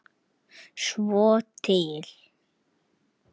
Svo til?